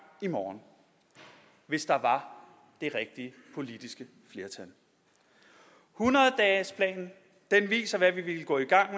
i morgen hvis der var det rigtige politiske flertal hundrede dagesplanen viser hvad vi ville gå i gang